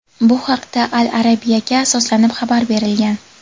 Bu haqda "Al Arabia"ga asoslanib xabar berilgan.